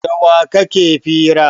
Da wa kake fira?